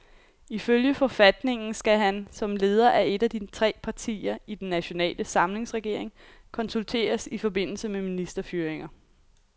Ifølge forfatningen skal han, som leder af et af de tre partier i den nationale samlingsregering, konsulteres i forbindelse med ministerfyringer.